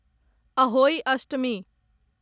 Ahoi Ashtami